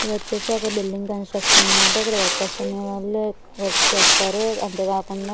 ఇది వచ్చేసి ఒక బిల్డింగ్ కన్స్ట్రక్షన్ అన్నమాట ఇక్కడ వర్కర్స్ అనేవాళ్లు వర్క్ చేస్తారు అంతేకాకుండా.